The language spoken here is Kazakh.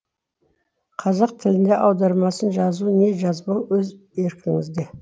қазақ тілінде аудармасын жазу не жазбау өз еркіңізде